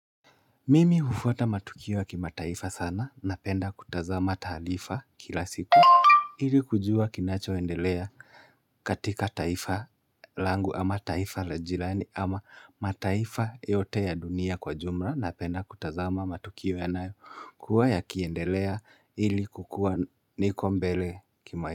Mimi hufuata matukio ys kimataifa sana napenda kutazama taalifa kila siku. Hili kujua kinachoendelea katika taifa langu ama taifa la jirani ama mataifa yote ya dunia kwa jumla napenda kutazama matukio yanayo kuwa yakiendelea ili kukuwa niko mbele kima.